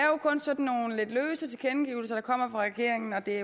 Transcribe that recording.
er jo kun sådan nogle lidt løse tilkendegivelser der kommer fra regeringen og det er